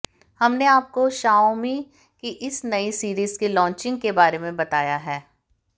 हमने आपको शाओमी की इस नई सीरीज के लॉन्चिंग के बारे में बताया है